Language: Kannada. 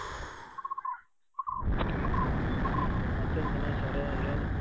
ಹ್ಮ್ಮ ಮತ್ತೇನ್ ಗಣೇಶ್ ಅವರೇ ಏನು ?